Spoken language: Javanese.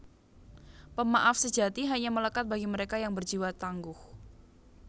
Pemaaf sejati hanya melekat bagi mereka yang berjiwa tangguh